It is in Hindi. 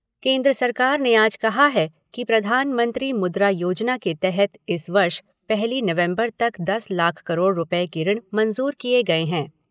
केन्द्र सरकार ने आज कहा है कि प्रधानमंत्री मुद्रा योजना के तहत इस वर्ष पहली नवम्बर तक दस लाख करोड़ रुपये के ऋण मंज़ूर किए गए है।